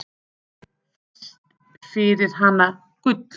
Fæst fyrir hana gull.